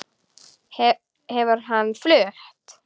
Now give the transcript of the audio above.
Hefur hann flutt?